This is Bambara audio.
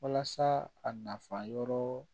Walasa a nafa yɔrɔ